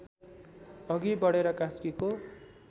अघि बढेर कास्कीको